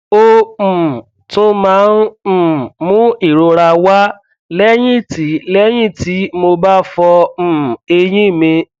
ó um tún máa ń um mú ìrora wá lẹyìn tí lẹyìn tí mo bá fọ um eyín mi